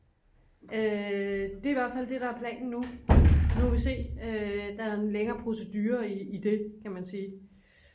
det er i hvert fald det der er planen nu nu må vi se der er en længere procedure i det kan man sige